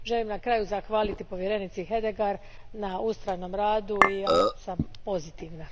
Na kraju želim zahvaliti povjerenici Hedegaard na ustrajnom radu i ja sam pozitivna.